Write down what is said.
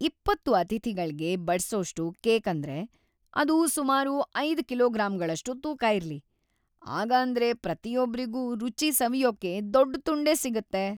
ಇಪ್ಪತ್ತು ಅತಿಥಿಗಳ್ಗೆ ಬಡ್ಸೋಷ್ಟು ಕೇಕ್‌ ಅಂದ್ರೆ ಅದು ಸುಮಾರು ಐದು ಕಿಲೋಗ್ರಾಂಗಳಷ್ಟು ತೂಕ ಇರ್ಲಿ. ಆಗಾಂದ್ರೆ ಪ್ರತಿಯೊಬ್ರಿಗೂ ರುಚಿ ಸವಿಯೋಕೆ ದೊಡ್ಡ್‌ ತುಂಡೇ ಸಿಗತ್ತೆ.